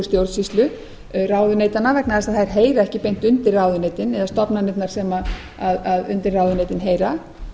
stjórnsýslu ráðuneytanna vegna þess að þær heyra ekki beint undir ráðuneytin eða stofnanirnar sem undir ráðuneytin heyra